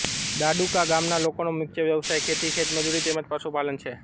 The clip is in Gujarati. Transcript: ડાડુકા ગામના લોકોનો મુખ્ય વ્યવસાય ખેતી ખેતમજૂરી તેમ જ પશુપાલન છે